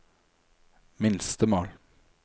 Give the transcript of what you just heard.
minstemål